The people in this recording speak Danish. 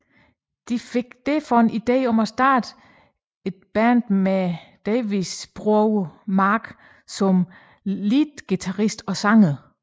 De fik derfor en ide om at starte et Band med Davids bror Mark som leadguitarist og sanger